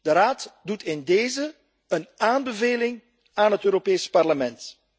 De Raad doet in dezen een aanbeveling aan het Europees Parlement.